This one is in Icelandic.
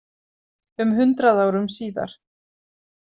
Um hundrað árum síðar.